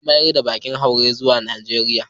An mayar da bakin hauren zuwa Najeriya.